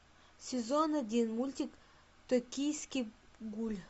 сезон один мультик токийский гуль